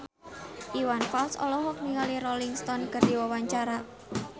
Iwan Fals olohok ningali Rolling Stone keur diwawancara